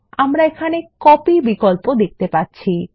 আমরা এখানে কপি বিকল্প দেখতে পাচ্ছি